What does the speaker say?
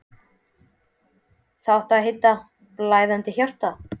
Það átti að heita: Blæðandi hjarta.